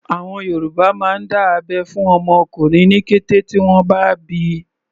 Àwọn Yorùbá máa ń dá abẹ́ fún ọmọ ọkùnrin ní kété tí wọ́n bá bíi.